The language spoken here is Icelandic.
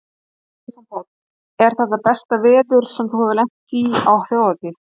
Stefán Páll: Er þetta besta veður sem þú hefur lent í á Þjóðhátíð?